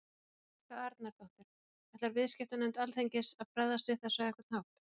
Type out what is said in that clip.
Helga Arnardóttir: Ætlar viðskiptanefnd Alþingis að bregðast við þessu á einhvern hátt?